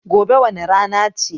Gobe wane rana ce?